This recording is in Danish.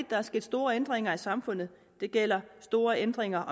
der er sket store ændringer af samfundet det gælder store ændringer